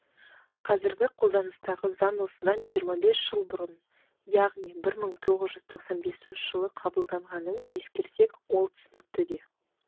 қазіргі қолданыстағы заң осыдан жиырма бес жыл бұрын яғни бір мың тоғыз жүз тоқсан бесінші жылы қабылданғанын ескерсек ол түсінікті де